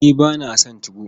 Ni ba na son 2go.